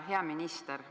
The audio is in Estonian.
Hea peaminister!